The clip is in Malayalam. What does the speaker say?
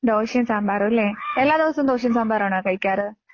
ദോശയും സാമ്പാറും അല്ലേ എല്ലാ ദിവസവും ദോശയും സാമ്പാറും ആണോ കഴിക്കാറ്